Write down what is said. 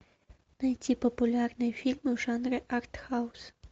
найти популярные фильмы в жанре артхаус